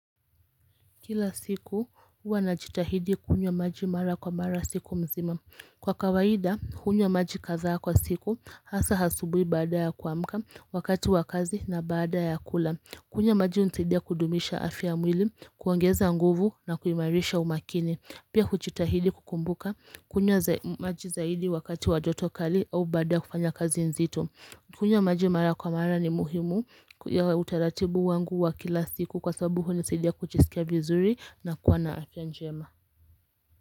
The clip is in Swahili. Kila siku, hua na jitahidi kunywa maji mara kwa mara siku mzima. Kwa kawaida, hunywa maji kazaa kwa siku, hasa hasubui baada ya kuamka, wakati wa kazi na baada ya kula. Kunywa maji nsidia kudumisha afya mwili, kuangeza nguvu na kuimarisha umakini. Pia kuchitahidi kukumbuka, kunywa maji zaidi wakati wa jotokali au baada kufanya kazi nzito. Kunywa majimara kwa mara ni muhimu ya utaratibu wangu wa kila siku kwa sabuhu nisedia kuchisikia vizuri na kuana afyanjema.